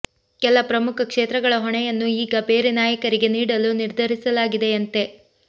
ಕೆಲ ಪ್ರಮುಖ ಕ್ಷೇತ್ರಗಳ ಹೊಣೆಯನ್ನು ಈಗ ಬೇರೆ ನಾಯಕರಿಗೆ ನೀಡಲು ನಿರ್ಧರಿಸಲಾಗಿದೆಯಂತೆ